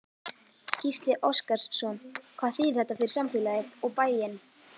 Gísli Óskarsson: Hvað þýðir þetta fyrir samfélagið, og bæinn?